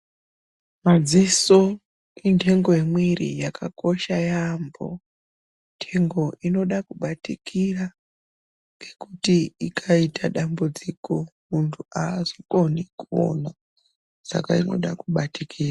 Madziso indengo yemiri yakakosha yambo ndengo inoda kubatikira ngekuti mundu akaita dambudziko mundu azokoni kuona saka inoda kubatikira.